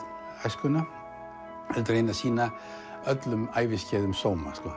æskuna heldur reyni að sýna öllum æviskeiðum sóma